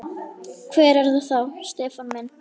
Hver er það Stefán minn?